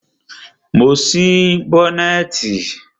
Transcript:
Mo ti ṣí bọ́nẹ̀tì.